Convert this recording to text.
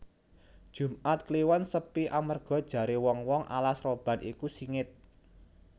Jumat kliwon sepi amarga jare wong wong alas roban iku singit